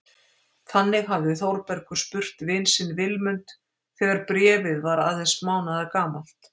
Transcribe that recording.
Þannig hafði Þórbergur spurt vin sinn Vilmund þegar Bréfið var aðeins mánaðargamalt.